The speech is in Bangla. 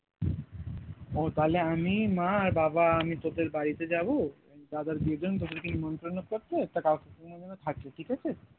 ও তাহলে আমি মা আর বাবা আমি তোদের বাড়িতে যাবো দাদার বিয়ের জন্য তোদেরকে নিমন্ত্রণ করতে তা কাকু কাকিমার যেন থাকে ঠিক আছে?